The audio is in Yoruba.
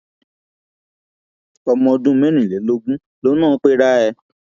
ọmọ ọdún mẹrìnlélógún lòun náà pera ẹ